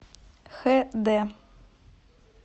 хд